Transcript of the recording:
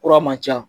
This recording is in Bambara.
Kura man ca